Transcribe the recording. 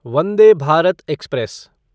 Vande Bharat express